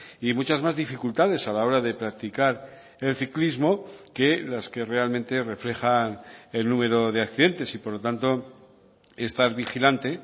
y muchas más dificultades a la hora de practicar el ciclismo que las que realmente reflejan el número de accidentes y por lo tanto estar vigilante